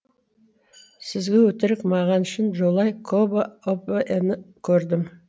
сізге өтірік маған шын жолай кобо обоэны көрдім